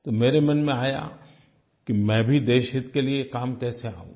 तो मेरे मन में आया कि मैं भी देशहित के लिए काम कैसे आऊँ